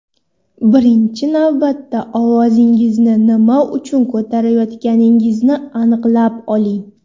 Birinchi navbatda ovozingizni nima uchun ko‘tarayotganingizni aniqlab oling.